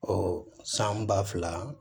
Ɔ san ba fila